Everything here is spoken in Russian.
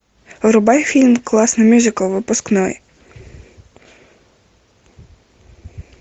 врубай фильм классный мюзикл выпускной